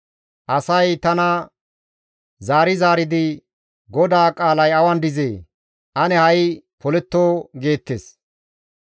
Asay tana zaari zaaridi, «GODAA qaalay awan dizee? Ane ha7i poletto!» geettes.